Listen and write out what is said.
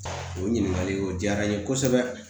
O ɲininkali o diyara n ye kosɛbɛ